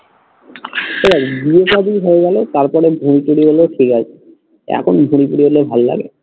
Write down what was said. ঠিক আছে বিয়ে সাদী হয়ে গেলে তারপরে ভুঁড়ি টুরি হলে ঠিক আছে। এখন ভুরি টুরি হলে ভাল্লাগে?